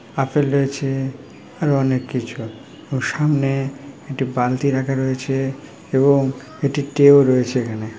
Apple রয়েছে আরো অনেক কিছু সামনে একটি বালতি রাখা রয়েছে এবং একটি টে -ও রয়েছে এখানে।